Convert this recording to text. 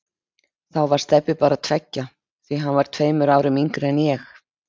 Þá var Stebbi bara tveggja, því að hann var tveimur árum yngri en ég.